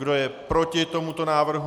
Kdo je proti tomu návrhu?